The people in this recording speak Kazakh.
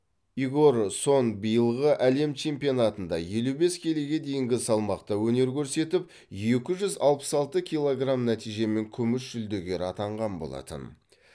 игор сон биылғы әлем чемпионатында елу бес келіге дейінгі салмақта өнер көрсетіп екі жүз алпыс алты килограмм нәтижемен күміс жүлдегер атанған болатын